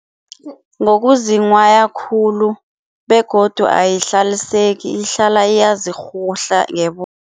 Ngokuzinghwaya khulu begodu ayihlaliseki, ihlala iyazirhuhla